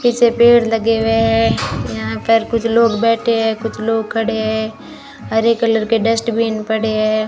इसे पेड़ लगे हुए हैं यहां पर कुछ लोग बैठे हैं कुछ लोग खड़े हैं हरे कलर के डस्टबिन पड़े है।